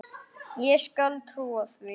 Ég skal trúa því.